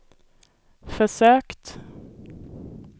försökt